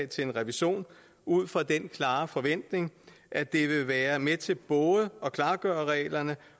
til en revision ud fra den klare forventning at det vil være med til både at klargøre reglerne